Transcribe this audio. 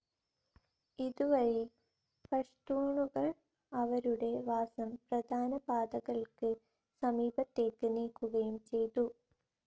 ഇതുവഴി പഷ്തൂണുകൾ അവരുടെ വാസം പ്രധാന പാതകൾക്ക് സമീപത്തേക്ക് നീക്കുകയും ചെയ്തു.